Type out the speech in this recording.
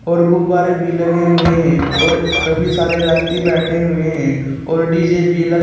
और गुब्बारे भी लगे हुए हैं और कभी सारे व्यक्ति बैठे हुए हैं और डी_जे भी लगे--